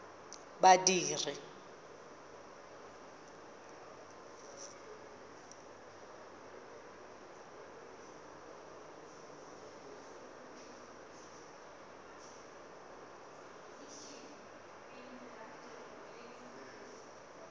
badiri